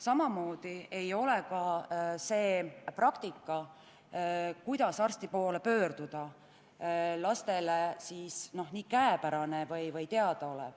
Samamoodi ei ole praktika, kuidas arsti poole pöörduda, lastele teada või pole see lihtne.